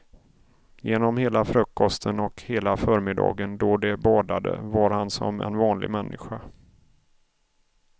Genom hela frukosten och hela förmiddagen då de badade var han som en vanlig människa.